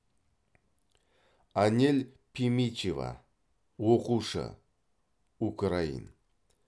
анель пимичева оқушы украин